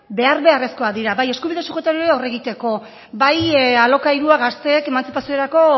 behar beharrezkoak dira bai eskubide subjektiboari aurre egiteko bai alokairua gazteek emantzipaziorako